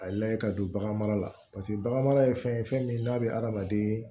A ye layɛ ka don bagan mara la paseke bagan mara ye fɛn ye fɛn min n'a bɛ adamaden